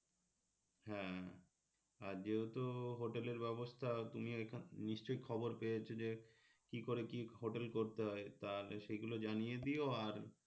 হ্যাঁ আর যেহেতু হোটেলের ব্যবস্থা তুমি ওইখানে নিশ্চয়ই খবর পেয়েছ যে কি করে কি হোটেল করতে হয় তাহলে সেইগুলো জানিয়ে দিও আর